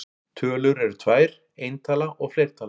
Tölur eru tvær: eintala og fleirtala.